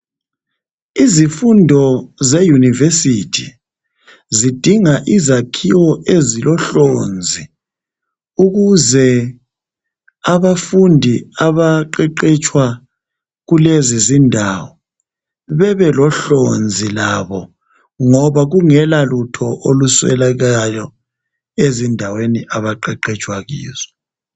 Izifundo zeYunivesithi zidinga izakhiwo ezilohlonzi ukuze abafundi abaqeqetshwa kulezi zindawo bebelohlonzi labo ngoba kungela lutho oluswelakalayo ezindaweni abaqeqetshwa kizo.